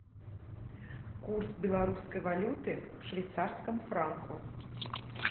курс белорусской валюты к швейцарскому франку